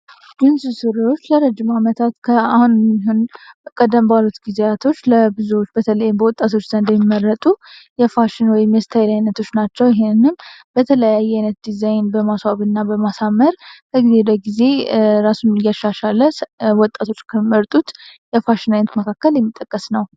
ጅንስ ስሪዎች ለረጅም ዓመታት ከአሁንን ቀደንባሎት ጊዜያቶች ለጉዙዎች በተለይ በወጣቶች ዘንድ የሚመረጡ የፋሽን ወይ የስተይል ዓይነቶች ናቸው ይህንም በተለየ ዓይነት ዲዛይን በማሥዋብ እና በማሳመር ከጊዜ ለጊዜ ራሱን ሊያሻሻለ ወጣቶች መርጡት የፋሽን አይነት መካከል የሚጠቀስ ነው።